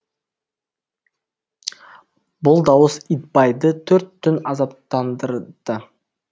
бұл дауыс итбайды төрт түн азаптандырды